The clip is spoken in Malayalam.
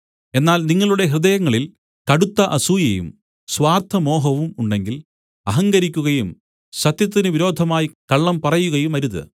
എന്നാൽ നിങ്ങളുടെ ഹൃദയങ്ങളിൽ കടുത്ത അസൂയയും സ്വാർത്ഥമോഹവും ഉണ്ടെങ്കിൽ അഹങ്കരിക്കുകയും സത്യത്തിന് വിരോധമായി കള്ളം പറയുകയുമരുത്